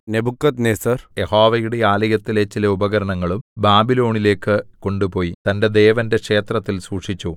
Nebuchadnezzar യഹോവയുടെ ആലയത്തിലെ ചില ഉപകരണങ്ങളും ബാബിലോണിലേക്ക് കൊണ്ടുപോയി തന്റെ ദേവന്റെ ക്ഷേത്രത്തിൽ സൂക്ഷിച്ചു